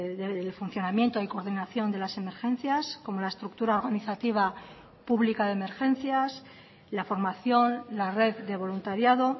del funcionamiento y coordinación de las emergencias como la estructura organizativa pública de emergencias la formación la red de voluntariado